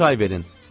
mənə çay verin.